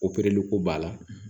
ko b'a la